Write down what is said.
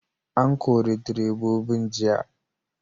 An kori direbobin jiya!